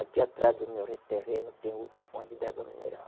Aqui atrás do meu re terreno tem outra fonte de água mineral.